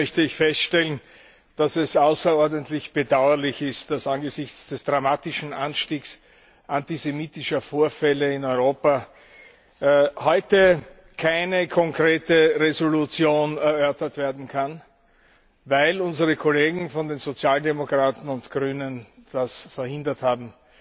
Eingangs möchte ich feststellen, dass es außerordentlich bedauerlich ist, dass angesichts des dramatischen Anstiegs antisemitischer Vorfälle in Europa heute keine konkrete Entschließung erörtert werden kann, weil unsere Kollegen von den Sozialdemokraten und Grünen das verhindert haben.